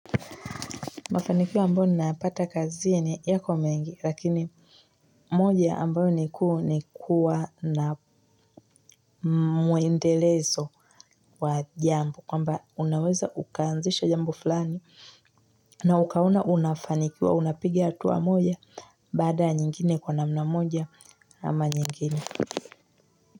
Mafanikio ambayo ninayapata kazi yako mengi, lakini moja ambayo ni kuu nikuwa na mwendelezo wa jambo, kwamba unaweza ukanzisha jambo fulani, na ukaona unafanikiwa, unapiga hatua moja, baada ya nyingine, kwa namna moja ama nyingine.